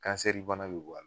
Kansɛri bana bɛ bɔ a la,